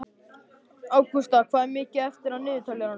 Ágústa, hvað er mikið eftir af niðurteljaranum?